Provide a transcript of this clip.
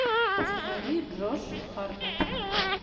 установи джош хартнетт